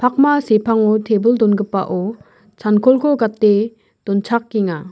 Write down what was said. pakma sepango tebil dongipao chankolko gate donchakenga.